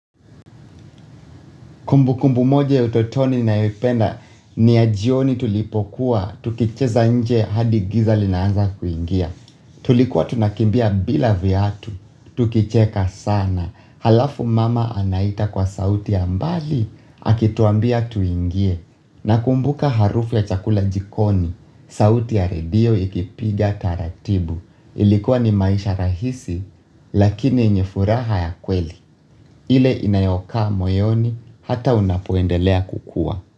Kumbukumbu moja ya utotoni nayoipenda ni ya jioni tulipokuwa, tukicheza nje hadi giza linaanza kuingia. Tulikuwa tunakimbia bila viatu, tukicheka sana. Halafu mama anaita kwa sauti ya mbali, akituambia tuingie. Nakumbuka harufu ya chakula jikoni, sauti ya redio ikipiga taratibu. Ilikuwa ni maisha rahisi lakini yenye furaha ya kweli. Ile inayokaa moyoni hata unapoendelea kukua.